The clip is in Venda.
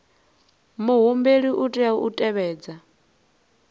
muhumbeli u tea u tevhedza